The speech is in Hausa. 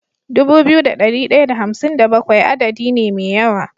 Dubu biyu da dari daya da hamsin da bakwai adadi ne me yawa